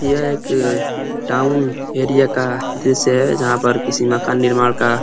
ये एक town area का दृश्य है। जहाँ पर किसी मकान निर्माण का --